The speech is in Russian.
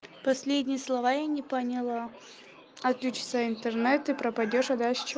последние слова я не поняла отключится интернет ты пропадёшь а дальше что